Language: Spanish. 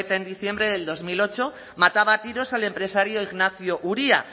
eta en diciembre del dos mil ocho mataba a tiros al empresario ignacio uria